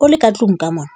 o le ka tlung ka mona.